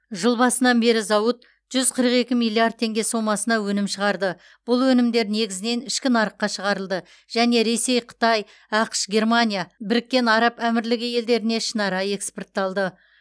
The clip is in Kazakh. жыл басынан бері зауыт жүз қырық екі миллиард теңге сомасына өнім шығарды бұл өнімдер негізінен ішкі нарыққа шығарылды және ресей қытай ақш германия біріккен араб әмірлігі елдеріне ішінара экспортталды